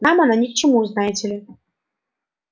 нам она ни к чему знаете ли